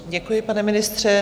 Děkuji, pane ministře.